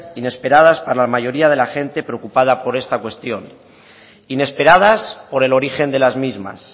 inesperadas para la mayoría de la gente preocupada por esta cuestión inesperadas por el origen de las mismas